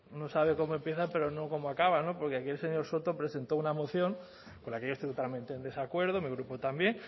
uno sabe cómo empiezan pero no cómo acaban no porque aquí el señor soto presentó una moción con la que yo estoy totalmente en desacuerdo mi grupo también